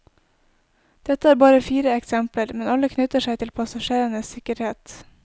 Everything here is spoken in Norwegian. Dette er bare fire eksempler, men alle knytter seg til passasjerenes sikkerhet.